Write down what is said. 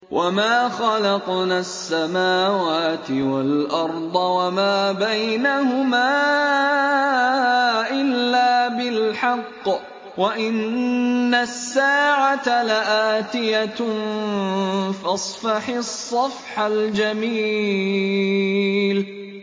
وَمَا خَلَقْنَا السَّمَاوَاتِ وَالْأَرْضَ وَمَا بَيْنَهُمَا إِلَّا بِالْحَقِّ ۗ وَإِنَّ السَّاعَةَ لَآتِيَةٌ ۖ فَاصْفَحِ الصَّفْحَ الْجَمِيلَ